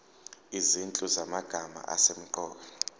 izinhlu zamagama asemqoka